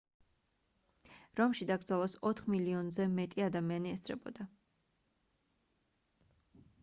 რომში დაკრძალვას ოთხ მილიონზე მეტი ადამიანი ესწრებოდა